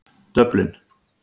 Dublin